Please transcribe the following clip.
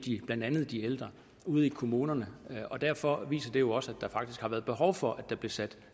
blandt andet de ældre ude i kommunerne og derfor viser det jo også at der faktisk har været behov for at der blev sat